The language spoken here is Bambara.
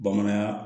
Bamanankan